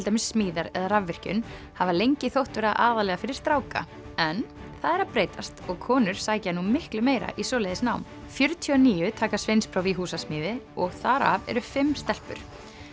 dæmis smíðar eða rafvirkjun hafa lengi þótt vera aðallega fyrir stráka en það er að breytast og konur sækja nú miklu meira í svoleiðis nám fjörutíu og níu taka sveinspróf í húsasmíði og þar af eru fimm stelpur